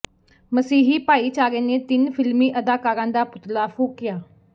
ਮਸੀਹੀ ਭਾਈਚਾਰੇ ਨੇ ਤਿੰਨ ਫਿਲਮੀ ਅਦਾਕਾਰਾਂ ਦਾ ਪੁਤਲਾ ਫੂਕਿਆ